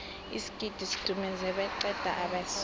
isigidi sidumuze beqa abeswa